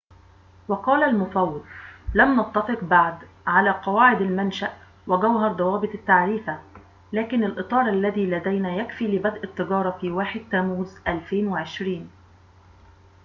وقال المفوض لم نتفق بعد على قواعد المنشأ وجوهر ضوابط التعريفة لكن الإطار الذي لدينا يكفي لبدء التجارة في 1 تموز 2020